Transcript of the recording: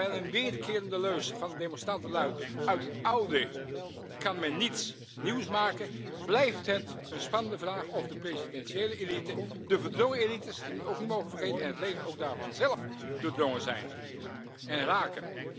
Terwijl een weerkerende leus van de demonstranten luidt uit het oude kan men niets nieuws maken, blijft het een spannende vraag of de presidentiële elite, de verdrongen elites die we ook niet mogen vergeten, en ook het leger daarvan zelf doordrongen zijn en raken.